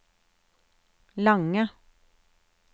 lange